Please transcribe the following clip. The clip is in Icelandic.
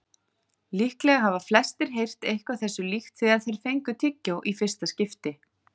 Líklega hafa flestir heyrt eitthvað þessu líkt þegar þeir fengu tyggjó í fyrsta skipti.